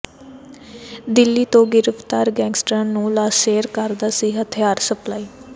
ਦਿੱਲੀ ਤੋਂ ਗਿ੍ਫ਼ਤਾਰ ਗੈਂਗਸਟਰਾਂ ਨੂੰ ਲਾਰੇਂਸ ਕਰਦਾ ਸੀ ਹਥਿਆਰ ਸਪਲਾਈ